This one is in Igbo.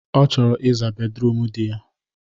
Ọ chọrọ ị zaa bedruum di ya.